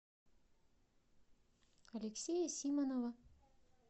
алексея симонова